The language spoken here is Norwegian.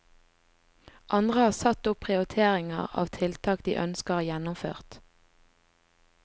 Andre har satt opp prioriteringer av tiltak de ønsker gjennomført.